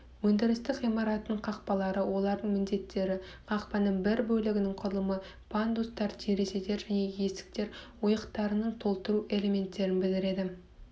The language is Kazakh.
өндірістік ғимараттың қақпалары олардың міндеттері қақпаның бір бөлігінің құрылымы пандустар терезелер және есіктер ойықтарын толтыру элементтерін біледі